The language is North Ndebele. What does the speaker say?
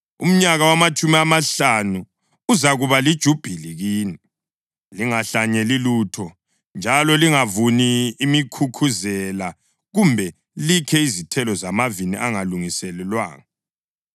Umnyaka wamatshumi amahlanu uzakuba lijubhili kini. Lingahlanyeli lutho, njalo lingavuni imikhukhuzela kumbe likhe izithelo zamavini angalungiselwanga.